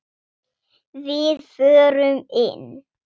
Við förum inn!